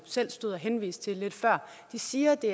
selv stod og henviste til lige før siger at det